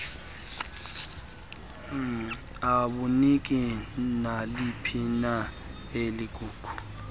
abuniki naliphina ilingu